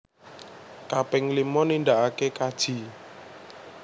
Kaping limo nindaake kaji